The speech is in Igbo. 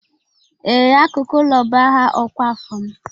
Ee, Akụkụ ụlọ bụ aha ọkwa afọ m